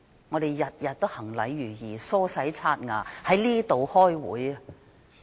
我們每天都行禮如儀，梳洗刷牙，在這裏開會。